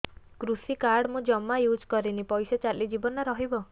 କୃଷି କାର୍ଡ ମୁଁ ଜମା ୟୁଜ଼ କରିନି ପଇସା ଚାଲିଯିବ ନା ରହିବ